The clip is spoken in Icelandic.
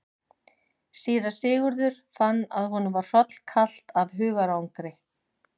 Síra Sigurður fann að honum var hrollkalt af hugarangri.